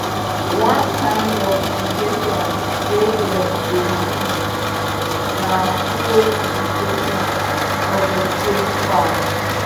one kind of irrigation wey dem dey use na furrow irrigation for vegetable farm.